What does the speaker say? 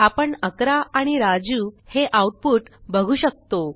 आपण 11 आणि राजू हे आऊटपुट बघू शकतो